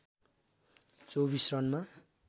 २४ रनमा